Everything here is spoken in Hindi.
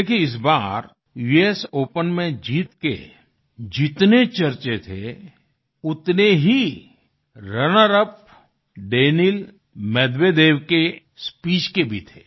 देखिये इस बार यूएस ओपन में जीत के जितने चर्चें थे उतने ही रनर यूपी दानील मेदवेदेव के स्पीच के भी थे